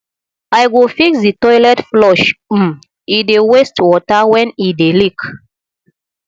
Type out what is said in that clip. i go fix di toilet flush um e dey waste water wen e dey leak